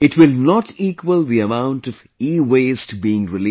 it will not equal the amount of EWaste being released